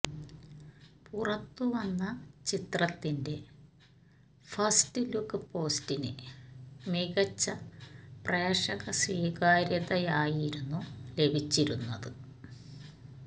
പുറത്തു വന്ന ചിത്രത്തിന്റെ ഫസ്റ്റ് ലുക്ക് പോസ്റ്റിന് മികച്ച പ്രേക്ഷക സ്വീകാര്യതയായിരുന്നു ലഭിച്ചിരുന്നത്